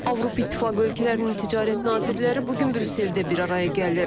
Avropa İttifaqı ölkələrinin ticarət nazirləri bu gün Brüsseldə bir araya gəlir.